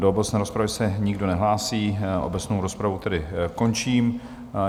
Do obecné rozpravy se nikdo nehlásí, obecnou rozpravu tedy končím.